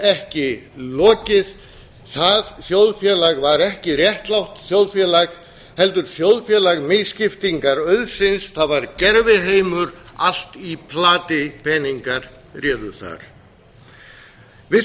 ekki lokið það þjóðfélag var ekki réttlátt þjóðfélag heldur þjóðfélag misskiptingar auðsins það var gerviheimur allt í plati peningar réðu þar við